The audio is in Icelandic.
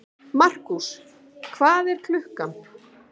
Markús, hvað er klukkan?